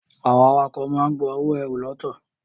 Àwọn awakọ̀ máa ń gba owó ẹrù ltd.